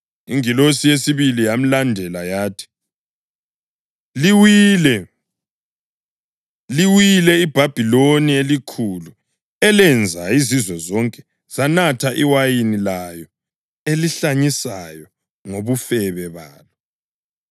Ingilosi yesibili yalandela yathi, “Liwile! Liwile iBhabhiloni eliKhulu elenza izizwe zonke zanatha iwayini layo elihlanyisayo ngobufebe balo.” + 14.8 U-Isaya 21.9